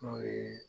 N'o ye